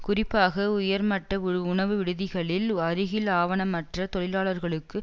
குறிப்பாக உயர்மட்ட உணவுவிடுதிகளின் அருகில் ஆவணமற்ற தொழிலாளர்களுக்கு